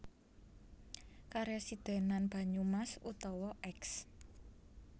Karesidhenan Banyumas utawa Eks